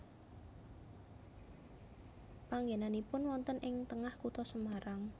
Panggenanipun wonten ing tengah kutha Semarang